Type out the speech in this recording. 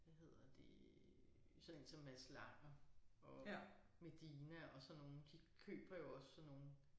Hvad hedder det sådan én som Mads Langer og Medina og sådan nogle de køber jo også sådan nogle